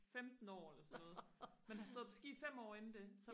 femten år eller sådan noget men har stået på ski fem år inden det